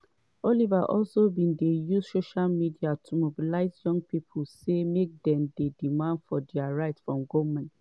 oliver also bin dey use social media to mobilise young pipo say make dey demand dia rights from goment.